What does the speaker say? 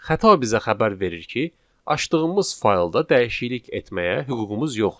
Xəta bizə xəbər verir ki, açdığımız faylda dəyişiklik etməyə hüququmuz yoxdur.